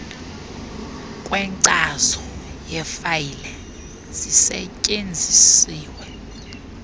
kwenkcazo yefayile zisetyenziswe